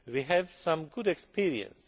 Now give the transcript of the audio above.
We have some good experience.